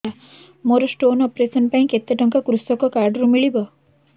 ମୋର stone operation ପାଇଁ କେତେ ଟଙ୍କା କୃଷକ କାର୍ଡ ରୁ ମିଳିବ